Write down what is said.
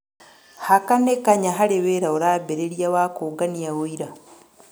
Haka nĩ kanya, harĩa wĩra ũrambĩrĩria wa kũũngania ũira.